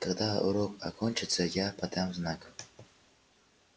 когда урок окончится я подам знак